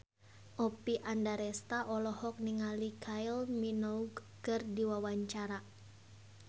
Oppie Andaresta olohok ningali Kylie Minogue keur diwawancara